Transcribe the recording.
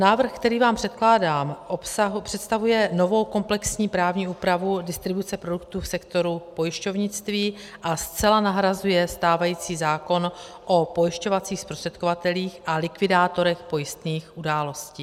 Návrh, který vám předkládám, představuje novou komplexní právní úpravu distribuce produktů v sektoru pojišťovnictví a zcela nahrazuje stávající zákon o pojišťovacích zprostředkovatelích a likvidátorech pojistných událostí.